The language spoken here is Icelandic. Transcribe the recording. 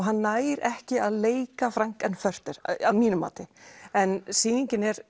hann nær ekki að leika Frank NFurter að mínu mati en sýningin er